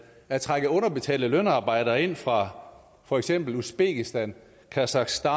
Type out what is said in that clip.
der trækker underbetalte lønarbejdere ind fra for eksempel uzbekistan kasakhstan